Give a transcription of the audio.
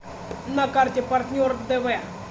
на карте партнер дв